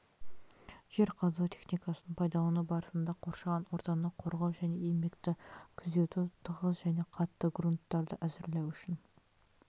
жер қазу техникасын пайдалану барысында қоршаған ортаны қорғау және еңбекті күзету тығыз және қатты грунттарды әзірлеу үшін